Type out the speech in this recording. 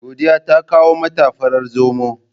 Godiya ta kawo mata farar zomo.